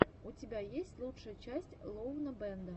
у тебя есть лучшая часть лоунабэнда